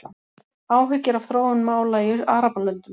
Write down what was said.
Áhyggjur af þróun mála í Arabalöndum